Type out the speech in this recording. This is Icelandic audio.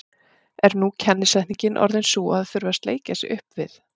Er nú kennisetningin orðin sú að það þurfi að sleikja sig upp við